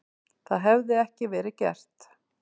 Það hefði ekki verið gert.